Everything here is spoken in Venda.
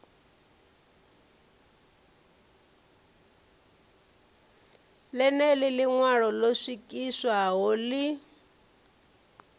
ḽeneḽo ḽiṋwalo ḽo swikiswaho ḽi